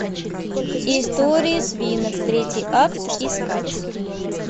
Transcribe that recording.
истории свинок третий акт искать